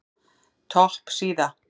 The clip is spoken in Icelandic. Topp síða